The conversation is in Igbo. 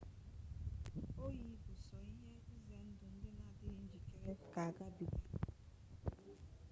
oyi bụ sọ ihe ize ndụ ndị na-adịghị njikere ga agabiga